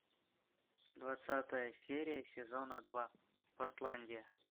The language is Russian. двадцатая серия сезона два портландия